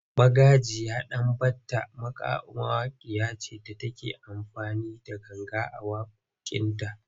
Magajiya Danbatta mawakiya ce da take amfani da ganga a waƙoƙinta.